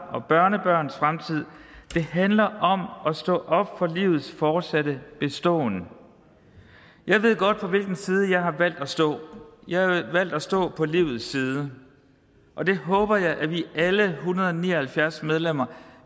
og børnebørns fremtid det handler om at stå op for livets fortsatte beståen jeg ved godt på hvilken side jeg har valgt at stå jeg har valgt at stå på livets side og det håber jeg at vi alle en hundrede og ni og halvfjerds medlemmer